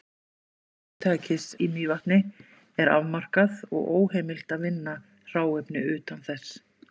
Vinnslusvæði fyrirtækisins í Mývatni er afmarkað, og er óheimilt að vinna hráefni utan þess.